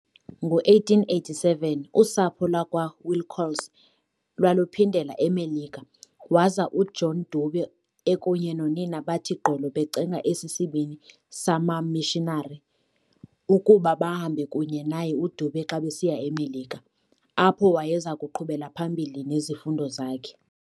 ngo-1887, usapho lwakwaWilcox lwaluphindela eMelika, waza uJohn Dube ekunye nonina bathi gqolo becenga esi sibini samamishinari ukuba bahambe kunye naye uDube xa besiya eMelika, apho wayezakuqhubela phambili nezifundo zakhe.